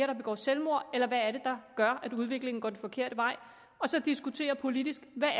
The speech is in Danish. der begår selvmord eller hvad det er der gør at udviklingen går den forkerte vej og så diskutere politisk hvad